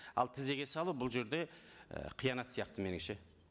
ал тізеге салу бұл жерде ы қиянат сияқты меніңше